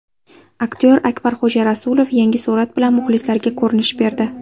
Aktyor Akbarxo‘ja Rasulov yangi surat bilan muxlislariga ko‘rinish berdi.